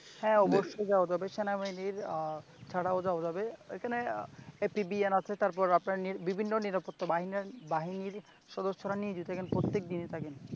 হ্যাঁ অবশ্যই যাওয়া যাবে। সেনাবাহিনীর ছাড়াও যাওয়া যাবে ওইখানে APPN আছে তারপর বিভিন্ন নিরাপত্তা বাহিনী সদস্যরা নিয়োজিত এখানে প্রত্যেক দিয়ে থাকে ।